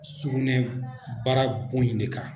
Sugunɛ baara bon in de kan